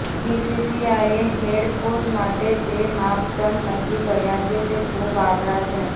બીસીસીઆઈએ head coach માટે જે માપદૃંડ નક્કી કર્યાં છે તે ખુબ આકરા છે